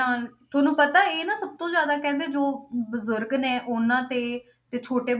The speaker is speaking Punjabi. ਨਾਲ ਤੁਹਾਨੂੰ ਪਤਾ ਇਹ ਨਾ ਸਭ ਤੋਂ ਜ਼ਿਆਦਾ ਕਹਿੰਦੇ ਜੋ ਬਜ਼ੁਰਗ ਨੇ ਉਹਨਾਂ ਤੇ, ਤੇ ਛੋਟੇ